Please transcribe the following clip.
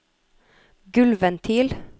gulvventil